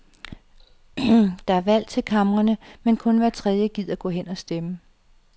Der er valg til kamrene, men kun hver tredje gider gå hen og stemme.